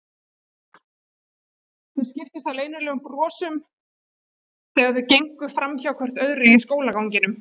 Þau skiptust á leynilegum brosum þegar þau gengu framhjá hvort öðru á skólaganginum.